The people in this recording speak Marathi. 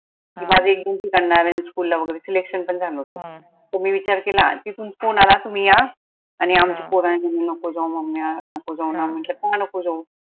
एक दोन ठिकानला नारायण school ला वगैरे selection पन झाल होता मग मी विचार केला तिथून phone आला तुम्ही या आनि आमचीच पोर mummy नको जाऊ mummy अं नको जाऊ ना म्हंटल का नको जाऊ?